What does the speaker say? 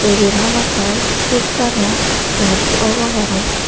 iben hamakai kristano charce obo parapang.